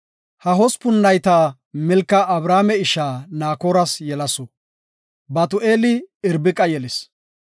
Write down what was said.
Ha hospun nayta Milka Abrahaame isha Naakoras yelasu. Batu7eeli Irbiqa yelis.